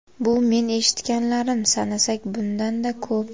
Bu men eshitganlarim, sanasak bundan-da ko‘p.